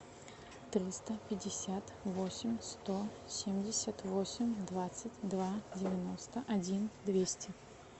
триста пятьдесят восемь сто семьдесят восемь двадцать два девяносто один двести